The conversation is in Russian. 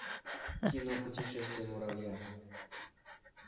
кино путешествие муравья